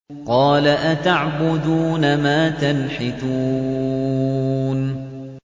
قَالَ أَتَعْبُدُونَ مَا تَنْحِتُونَ